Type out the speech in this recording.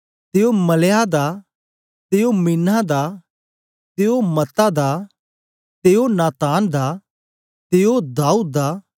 ते ओ मलेआह दा ते ओ मिन्नाह दा ते ओ मत्तता दा ते ओ नातान दा ते ओ दाऊद दा